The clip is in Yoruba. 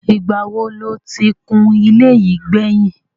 Ìgbà wo lo ti kun ilé yìí gbẹ̀yìn?